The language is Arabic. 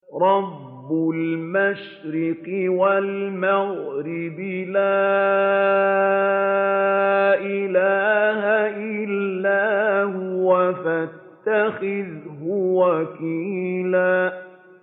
رَّبُّ الْمَشْرِقِ وَالْمَغْرِبِ لَا إِلَٰهَ إِلَّا هُوَ فَاتَّخِذْهُ وَكِيلًا